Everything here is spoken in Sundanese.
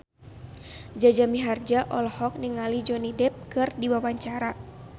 Jaja Mihardja olohok ningali Johnny Depp keur diwawancara